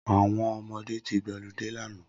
Awọn ọmọdé ti gbọlidé làná